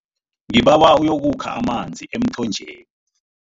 Ngibawa uyokukha amanzi emthonjeni.